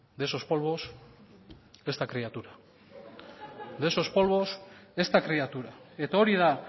de esos polvos esta criatura de esos polvos esta criatura eta hori da